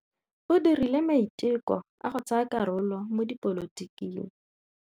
O dirile maitekô a go tsaya karolo mo dipolotiking.